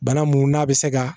Bana mun n'a bɛ se ka